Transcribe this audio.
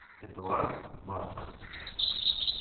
эдуард марков